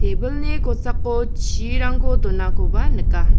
ebilni kosako chirangko donakoba nika.